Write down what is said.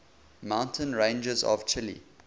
mountain ranges of chile